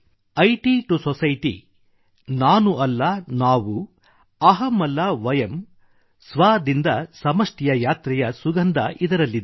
IT to society ನಾನು ಅಲ್ಲ ನಾವು ಅಹಂ ಅಲ್ಲ ವಯಮ್ ಸ್ವ ದಿಂದ ಸಮಷ್ಟಿ ಯ ಯಾತ್ರೆಯ ಸುಗಂಧ ಇದರಲ್ಲಿದೆ